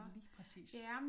Lige præcis